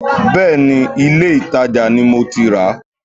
Bẹ́ẹ̀ni, ilé-ìtàjà ni mo ti rà á